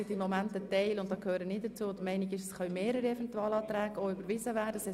Ein Teil ist momentan mit mir der Meinung, dass auch mehrere Eventualanträge überwiesen werden können.